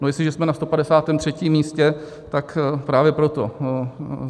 No, jestliže jsme na 153. místě, tak právě proto.